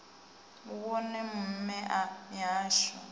u wone mme a mihasho